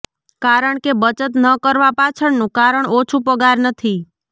કારણ કે બચત ન કરવા પાછળનું કારણ ઓછું પગાર નથી